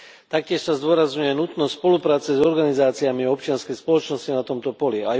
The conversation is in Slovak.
Taktiež sa zdôrazňuje nutnosť spolupráce s organizáciami občianskej spoločnosti na tomto poli.